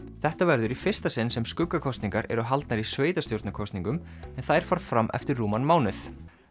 þetta verður í fyrsta sinn sem skuggakosningar eru haldnar í sveitarstjórnarkosningum en þær fara fram eftir rúman mánuð